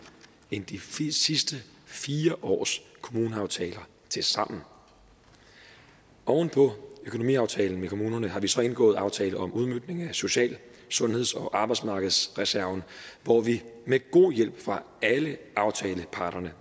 end de sidste fire års kommuneaftaler tilsammen oven på økonomiaftalen med kommunerne har vi så indgået en aftale om udmøntning af social sundheds og arbejdsmarkedsreserven hvor vi med god hjælp fra alle aftaleparterne